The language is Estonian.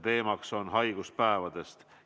Teemaks on haiguspäevad.